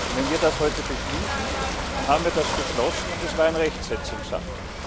Wenn wir das heute beschließen, dann haben wir das beschlossen und es war ein Rechtsetzungsakt.